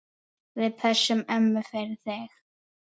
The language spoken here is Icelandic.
Við pössum ömmu fyrir þig.